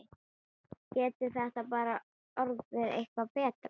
Getur þetta orðið eitthvað betra?